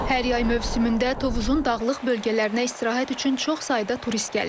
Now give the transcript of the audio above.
Hər yay mövsümündə Tovuzun dağlıq bölgələrinə istirahət üçün çox sayda turist gəlir.